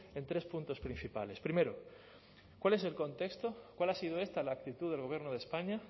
en tres puntos principales primero cuál es el contexto cuál ha sido esta la actitud del gobierno de españa